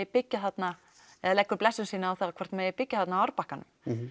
byggja þarna eða leggur blessun sína yfir hvort það megi byggja þarna á árbakkanum